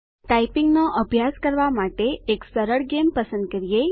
ટાઈપીંગનો અભ્યાસ કરવા માટે એક સરળ ગેમ પસંદ કરીએ